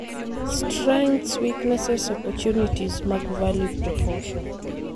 Strengths, weaknesses, opportunities mag value proposition.